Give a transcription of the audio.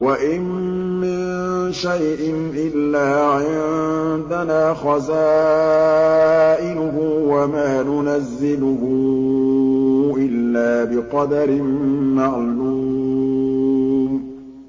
وَإِن مِّن شَيْءٍ إِلَّا عِندَنَا خَزَائِنُهُ وَمَا نُنَزِّلُهُ إِلَّا بِقَدَرٍ مَّعْلُومٍ